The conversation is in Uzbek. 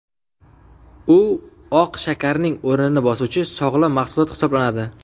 U oq shakarning o‘rnini bosuvchi sog‘lom mahsulot hisoblanadi.